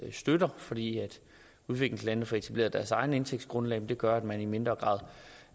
støtter for det at udviklingslandene får etableret deres eget indtægtsgrundlag gør at man i mindre grad